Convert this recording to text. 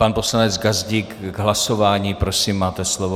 Pan poslanec Gazdík k hlasování, prosím máte slovo.